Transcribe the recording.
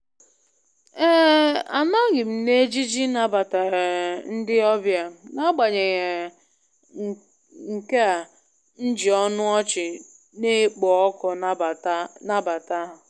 um Anọghị m n'ejiji ịnabata um ndị ọbịa, n'agbanyeghị um nkea m ji ọnụ ọchị na-ekpo ọkụ nabata nabata ha.